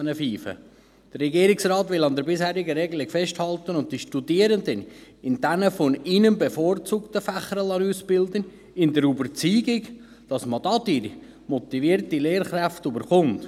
Der Regierungsrat will an der bisherigen Regelung festhalten und die Studierenden in den von ihnen bevorzugten Fächern ausbilden lassen, in der Überzeugung, dass man dadurch motivierte Lehrkräfte erhält.